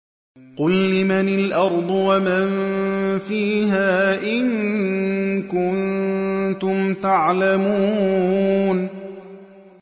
قُل لِّمَنِ الْأَرْضُ وَمَن فِيهَا إِن كُنتُمْ تَعْلَمُونَ